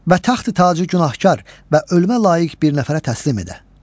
Və taxtı tacı günahkar və ölməyə layiq bir nəfərə təslim edə.